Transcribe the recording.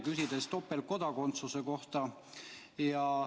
Küsisime topeltkodakondsuse kohta.